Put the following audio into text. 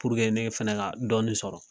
ne fana ka dɔɔnin sɔrɔ.